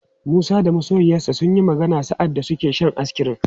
Musa da masoyiyarsa sunyi magana sa'adda suke shan ice cream.